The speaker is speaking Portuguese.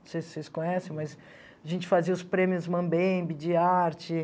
Não sei se vocês conhecem, mas a gente fazia os prêmios Mambembe de arte.